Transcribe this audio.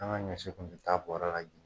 An ka ɲɔ si kun tɛ ta bɔrɛ